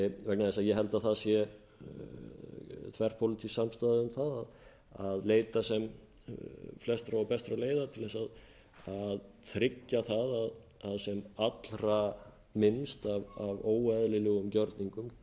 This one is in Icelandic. vegna þess að ég held að það sé þverpólitísk samstaða um það að leita sem flestra og bestra leiða til að tryggja það að sem allra minnst af óeðlilegum gjörningum